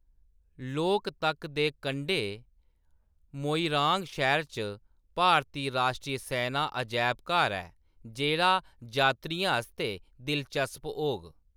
लोकतक दे कंढै मोइरांग शैह्‌रा च भारती राश्ट्री सैना अजैबघर ऐ जेह्‌‌ड़ा जात्तरियें आस्तै दिलचस्प होग।